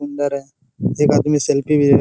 सुंदर है एक आदमी सेल्फी भी --